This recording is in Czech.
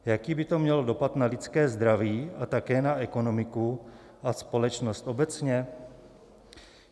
Jaký by to mělo dopad na lidské zdraví a také na ekonomiku a společnost obecně?